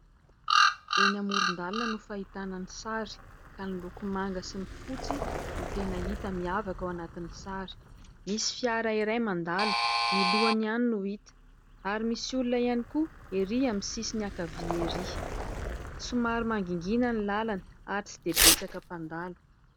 Eny amoron-dalana no fahitana ny sary ka ny loko manga sy ny fotsy no tena hita miavaka ao anatin'ny sary. Misy fiara iray mandalo, ny lohany ihany no hita ary misy olona ihany koa erỳ amin'ny sisiny ankavia erỳ. Somary mangingina ny lalana ary tsy dia betsaka mpandalo.